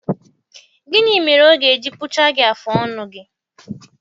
Gịnị mere ọ ga-eji kpụchaa gị afụ ọnụ gị?